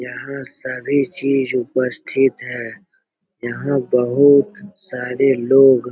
यहाँ सभी चीज उपस्थित है यहाँ बहुत सारे लोग --